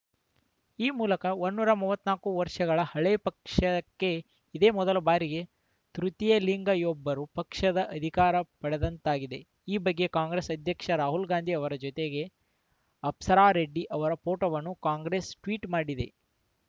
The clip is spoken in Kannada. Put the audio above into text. ಈ ಮೂಲಕ ಒಂನ್ ನೂರ ಮೂವತ್ತ್ ನಾಕು ವರ್ಷಗಳ ಹಳೇ ಪಕ್ಷಕ್ಕೆ ಇದೇ ಮೊದಲ ಬಾರಿಗೆ ತೃತೀಯ ಲಿಂಗಿಯೊಬ್ಬರು ಪಕ್ಷದ ಅಧಿಕಾರ ಪಡೆದಂತಾಗಿದೆ ಈ ಬಗ್ಗೆ ಕಾಂಗ್ರೆಸ್‌ ಅಧ್ಯಕ್ಷ ರಾಹುಲ್‌ ಗಾಂಧಿ ಅವರ ಜೊತೆಗೆ ಅಪ್ಸರಾ ರೆಡ್ಡಿ ಅವರ ಫೋಟೋವನ್ನು ಕಾಂಗ್ರೆಸ್‌ ಟ್ವೀಟ್‌ ಮಾಡಿದೆ